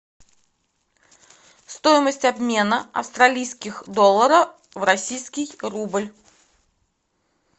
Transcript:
стоимость обмена австралийских долларов в российский рубль